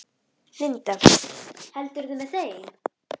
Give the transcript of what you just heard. Linda: Heldurðu með þeim?